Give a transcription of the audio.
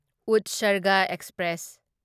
ꯎꯠꯁꯔꯒ express